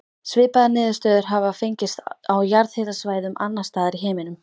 Svipaðar niðurstöður hafa fengist á jarðhitasvæðum annars staðar í heiminum.